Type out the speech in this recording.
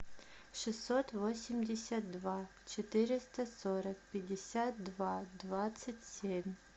шестьсот восемьдесят два четыреста сорок пятьдесят два двадцать семь